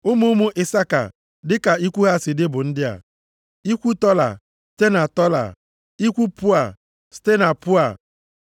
Ụmụ ụmụ Isaka dịka ikwu ha si dị bụ ndị a: ikwu Tola, site na Tola, ikwu Pua, site na Pua